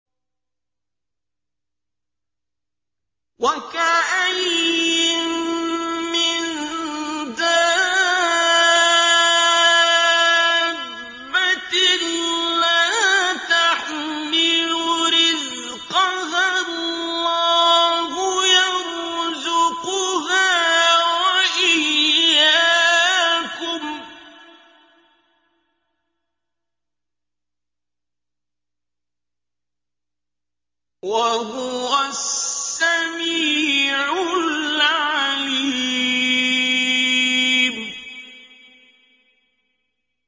وَكَأَيِّن مِّن دَابَّةٍ لَّا تَحْمِلُ رِزْقَهَا اللَّهُ يَرْزُقُهَا وَإِيَّاكُمْ ۚ وَهُوَ السَّمِيعُ الْعَلِيمُ